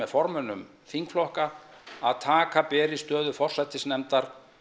formönnum þingflokka að taka beri stöðu forsætisnefndar